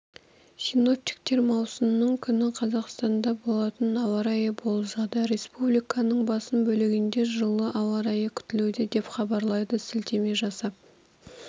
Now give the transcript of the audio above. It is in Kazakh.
синоптиктер маусымның күні қазақстанда болатын ауа райын болжады республиканың басым бөлігінде жылы ауа райы күтілуде деп хабарлайды сілтеме жасап